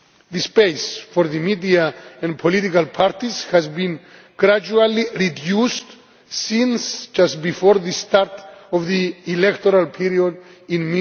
The space for the media and political parties has been gradually reduced since just before the start of the electoral period